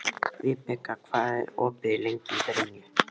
Vibeka, hvað er opið lengi í Brynju?